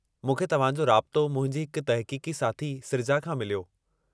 मूंखे तव्हांजो राबितो मुंहिंजी हिक तहक़ीक़ी साथी सृजा खां मिलियो।